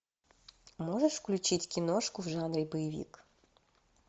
можешь включить киношку в жанре боевик